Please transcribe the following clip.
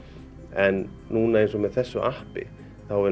en núna eins og með þessu appi þá er